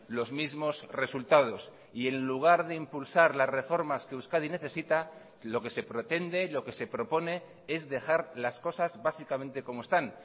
los mismos resultados y en lugar de impulsar las reformas que euskadi necesita lo que se pretende lo que se propone es dejar las cosas básicamente como están